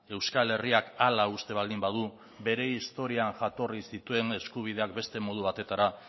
euskal herriak hala uste baldin badu bere historian jatorri zituen eskubideak beste modu batetara